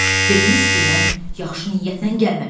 Dediniz ki, mən yaxşı niyyətlə gəlməmişəm.